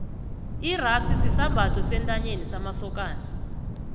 ixasi sisambatho sentanyeni samasokani